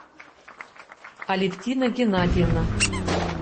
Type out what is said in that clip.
алевтина геннадьевна